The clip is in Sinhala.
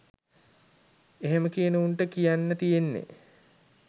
එහෙම කියන උන්ට කියන්න තියෙන්නෙ